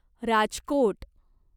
Rajkot